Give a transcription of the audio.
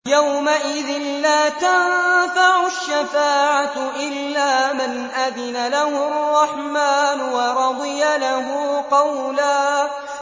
يَوْمَئِذٍ لَّا تَنفَعُ الشَّفَاعَةُ إِلَّا مَنْ أَذِنَ لَهُ الرَّحْمَٰنُ وَرَضِيَ لَهُ قَوْلًا